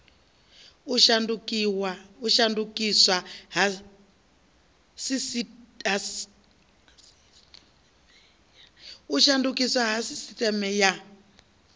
u shandukiswa ha sisiteme ya